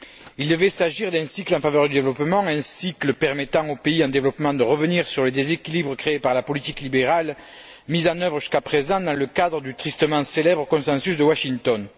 Il devait s'agir d'un cycle en faveur du développement, un cycle permettant aux pays en développement de revenir sur les déséquilibres créés par la politique libérale mise en œuvre jusqu'à présent dans le cadre du tristement célèbre Consensus de Washington.